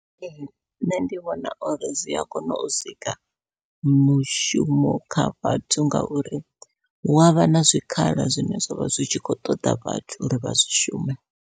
Ee nṋe ndi vhona uri zwia kona u sika mishumo kha vhathu, ngauri hu avha na zwikhala zwine zwavha zwi tshi khou ṱoḓa vhathu uri vha zwi shume.